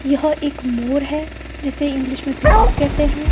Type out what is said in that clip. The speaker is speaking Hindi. यह एक मोर है जिसे इंग्लिश में पीकॉक कहते हैं।